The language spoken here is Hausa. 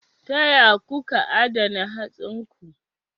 Ta ya kuka adana hatsinku?